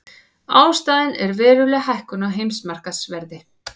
Ástæðan er veruleg hækkun á heimsmarkaðsverði